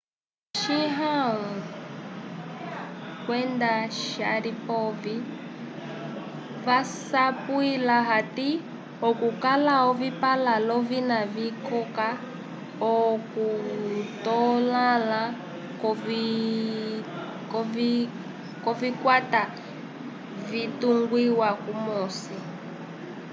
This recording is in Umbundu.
chiao kwenda sharipov vasapwila hati okukala ovipãla l'ovina vikoka okutotãla kwovikwata vyatungiwa kumosi